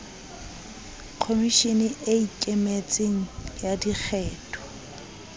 khomishene e ikemetseng ya dikgetho